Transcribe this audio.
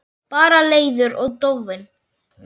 Bara leiður og dofinn.